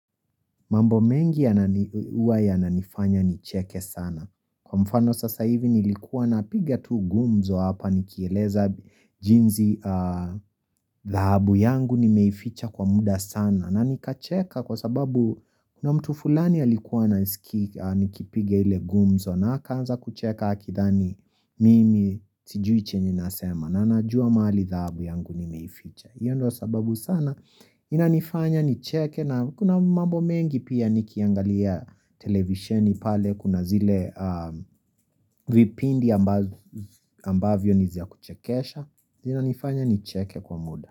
Mambo mengi yanani huwa yananifanya nicheke sana. Kwa mfano sasa hivi nilikuwa na piga tu gumzo hapa nikieleza jinzi dhahabu yangu nimeificha kwa muda sana. Na nikacheka kwa sababu kuna mtu fulani alikuwa ananiskia nikipiga ile gumzo na akaanza kucheka akithani mimi sijuichenye nasema. Na najua mali dhahabu yangu nimeificha. Iyo ndo sababu sana inanifanya nicheke na kuna mambo mengi pia nikiangalia televisheni pale kuna zile vipindi ambavyo ni za kuchekesha zina nifanya nicheke kwa muda.